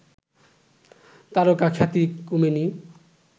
তারকাখ্যাতি কমেনি